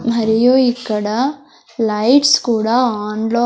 మరియు ఇక్కడ లైట్స్ కూడా ఆన్ లో--